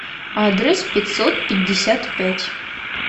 адрес пятьсот пятьдесят пять